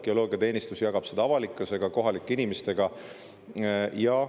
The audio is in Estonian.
Geoloogiateenistus jagab seda avalikkusega ja kohalike inimestega.